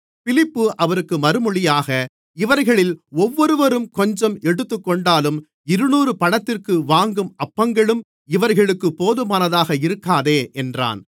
பிலிப்பு அவருக்கு மறுமொழியாக இவர்களில் ஒவ்வொருவரும் கொஞ்சம் எடுத்துக்கொண்டாலும் இருநூறு பணத்திற்கு வாங்கும் அப்பங்களும் இவர்களுக்குப் போதுமானதாக இருக்காதே என்றான்